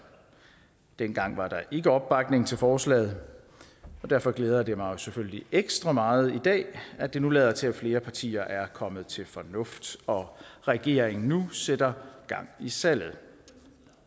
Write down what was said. dengang var der ikke opbakning til forslaget og derfor glæder det mig jo selvfølgelig ekstra meget i dag at det nu lader til at flere partier er kommet til fornuft og regeringen nu sætter gang i salget